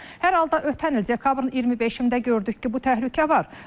Hər halda ötən il dekabrın 25-də gördük ki, bu təhlükə var.